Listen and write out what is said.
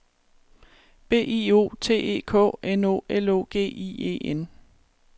B I O T E K N O L O G I E N